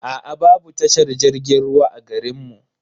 Aa babu tashar jirgin ruwa a garin mu.